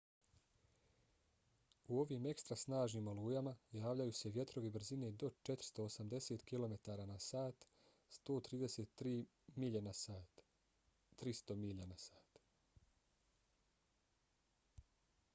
u ovim ekstra snažnim olujama javljaju se vjetrovi brzine do 480 km/h 133 m/s; 300 m/h